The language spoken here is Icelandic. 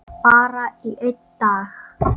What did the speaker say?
Bara í einn dag.